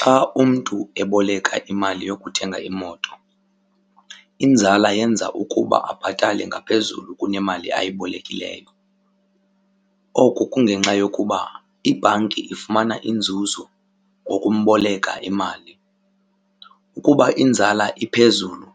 Xa umntu eboleka imali yokuthenga imoto inzala yenza ukuba abhatale ngaphezulu kunemali ayibolekileyo. Oku kungenxa yokuba ibhanki ifumana inzuzo ngokumboleka imali. Ukuba inzala iphezulu